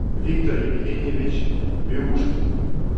виктор евгеньевич биушкин